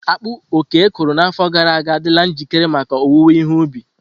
Akpu Oke kụrụ n’afọ gara aga adịla njikere maka owuwe ihe ubi.